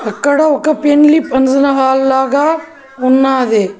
ఇక్కడ ఒక పెండ్లి పంక్షన్ హల్లాగా ఉన్నాది.